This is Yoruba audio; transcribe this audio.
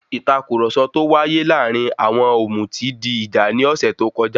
Ìtàkurọ̀sọ tó wáyé láàárín àwọn òmùtí di ìjà ní ọ̀sẹ̀ tó kọjá.